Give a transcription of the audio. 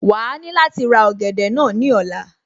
Wàá ní láti ra ọ̀gẹ̀dẹ̀ náà ní ọ̀la